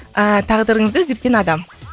тағдырыңызды өзгерткен адам